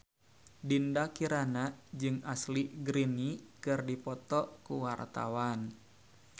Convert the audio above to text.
Dinda Kirana jeung Ashley Greene keur dipoto ku wartawan